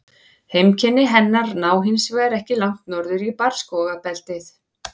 Heimkynni hennar ná hins vegar ekki langt norður í barrskógabeltið.